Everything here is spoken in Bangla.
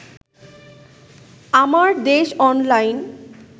আমারদেশ অনলাইন